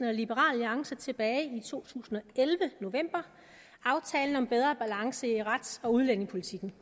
alliance tilbage i november to tusind og elleve aftalen om bedre balance i rets og udlændingepolitikken